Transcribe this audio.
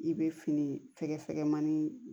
I bɛ fini fɛgɛfɛkɛmanin